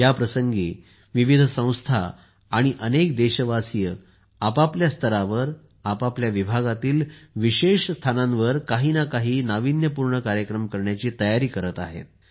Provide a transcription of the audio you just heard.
या प्रसंगी विविध संस्था आणि अनेक देशवासीय आपापल्या स्तरावर आपल्या विभागातील विशेष स्थानांवर काही ना काही नाविन्यपूर्ण कार्यक्रम करण्याची तयारी करत आहेत